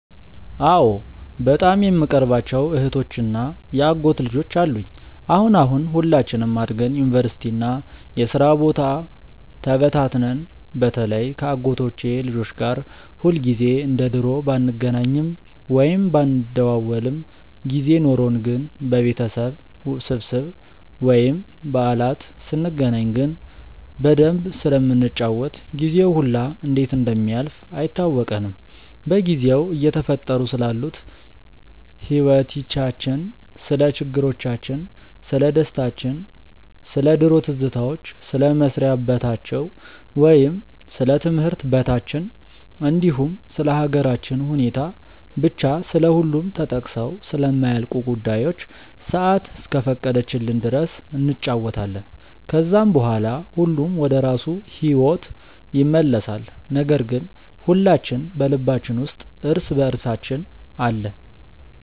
አዎ በጣም የምቀርባቸው እህቶች እና የአጎት ልጆች አሉኝ። አሁን አሁን ሁላችንም አድገን ዩኒቨርሲቲ እና የስራ ቦታ ተበታትነን በተለይ ከ አጎቶቼ ልጆች ጋር ሁልጊዜ እንደ ድሮ ባንገናኝም ወይም ባንደዋወልም ጊዜ ኖርን ግን በቤተሰብ ስብስብ ወይም በዓላት ስንገናኝ ግን በደንብ ስለምንጫወት ጊዜው ሁላ እንዴት እንደሚያልፍ አይታወቀንም። በጊዜው እየተፈጠሩ ስላሉት ህይወቲቻችን፣ ስለ ችግሮቻችን፣ ስለደስታችን፣ ስለ ድሮ ትዝታዎች፣ ስለ መስሪያ በታቸው ወይም ስለ ትምህርት በታችን እንዲሁም ስለ ሃገራችን ሁኔታ፤ ብቻ ስለሁሉም ተጠቅሰው ስለማያልቁ ጉዳዮች ሰአት እስከፈቀደችልን ድረስ እንጫወታለን። ከዛም በኋላ ሁሉም ወደራሱ ሂዎት ይመለሳል ነገር ግን ሁላችን በልባችን ውስጥ እርስ በእርሳችን አለን።